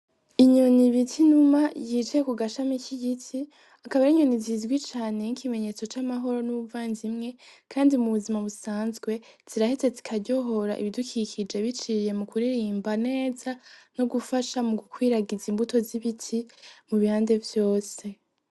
Inyoni bita inuma yicaye kugashami k'igiti, akaba ari inyoni zizwi cane nk'ikimenyetso c'amahoro n'ubuvandimwe, kandi mubuzima busanzwe ziraheza zikaryohora ibidukikije biciye mukuririmba neza ,no gufasha mugukwiragiza imbuto z'ibiti mubihande vyose.